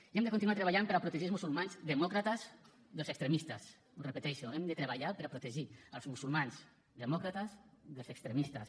i hem de continuar treballant per a protegir els musulmans demòcrates dels extremistes ho repeteixo hem de treballar per a protegir els musulmans demòcrates dels extremistes